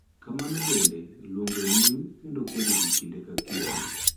Kamano bende, luongo nying� kendo kwedo ji kinde ka kinde .